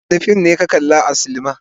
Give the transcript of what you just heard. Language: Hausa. Wane fim ne ka kalli a silima.